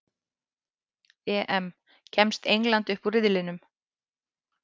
EM: Kemst England upp úr riðlinum?